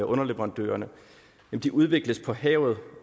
underleverandørerne udvikles på havet